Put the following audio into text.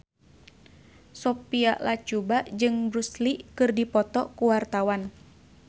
Sophia Latjuba jeung Bruce Lee keur dipoto ku wartawan